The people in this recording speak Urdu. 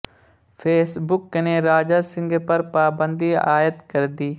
فیس بک نے راجہ سنگھ پر پابندی عائد کردی